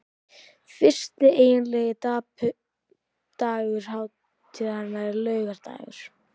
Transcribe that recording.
Fyrsti eiginlegi dagur hátíðarinnar er laugardagur.